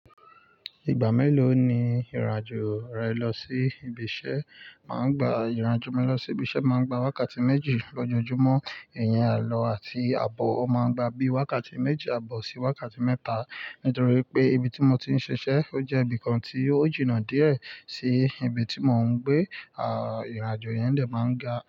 Ìgbà mélòó ni ìrìn àjò rẹ lọ sí ibi iṣẹ́? Máa ń gba ìrìn àjò mi lọ sí ibi iṣẹ́, máa ń gba wákàtí méjì lójoojúmọ́. Ìyẹn àlọ àti àbọ̀ o máa ń gba bí i wákàtí méjì, àbọ̀ sì wákàtí mẹ́ta. Nítorí pé ibi tí mo ti ń ṣiṣẹ́, ó jẹ́ ibìkan tí ó jìnnà díẹ̀ sí ibi tí mò ń gbé. À, ìrìn àjò yẹn dè máa ń ga.